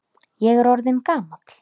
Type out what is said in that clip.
Ég er orðinn gamall.